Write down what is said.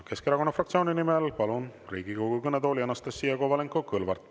Keskerakonna fraktsiooni nimel kõnelema palun Riigikogu kõnetooli Anastassia Kovalenko‑Kõlvarti.